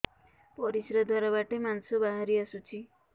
ପରିଶ୍ରା ଦ୍ୱାର ବାଟେ ମାଂସ ବାହାରି ଆସୁଛି